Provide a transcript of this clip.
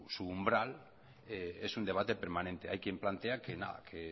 su umbral es un debate permanente hay quien plantea que